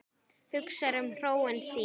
Hugsar um hróin sín.